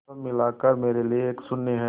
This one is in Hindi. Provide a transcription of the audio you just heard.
सब मिलाकर मेरे लिए एक शून्य है